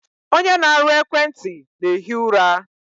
Onye na-arụ ekwenti na-ehi ụra.